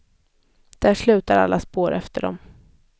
Där slutar alla spår efter dem.